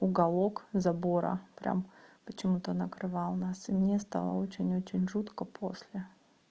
уголок забора прямо почему-то накрывал нас и мне стало очень очень жутко после